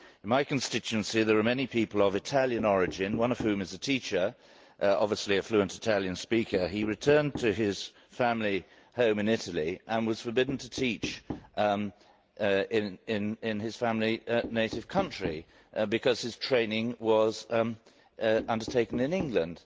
In my constituency there are many people of Italian origin, one of whom is a teacher and, obviously, a fluent Italian speaker. He returned to his family home in Italy and was forbidden to teach in his family's native country because his training was undertaken in England.